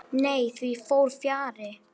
Nei, því fór fjarri.